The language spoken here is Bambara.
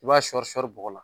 I b'a sɔri sɔri bɔgɔ la.